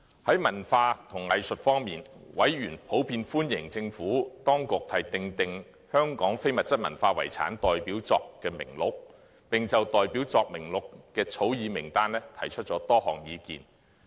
在文化及藝術方面，委員普遍歡迎政府當局訂定香港非物質文化遺產代表作名錄，並就代表作名錄的草擬名單提出多項意見。